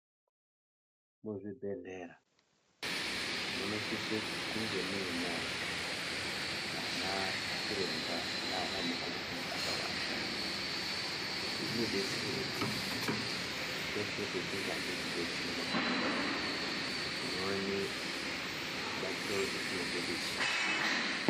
Muzvibhedhlera munosisa kunge muina ana chiremba nana mukoti akawanda izvi zvinodetsera kuti peshe patinode kudetserwa tinoone rubatsiro rwetinenge tichida.